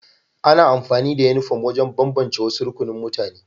Ana amfani da Uniform wajen bambance wasu rukunin mutane